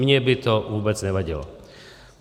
Mně by to vůbec nevadilo.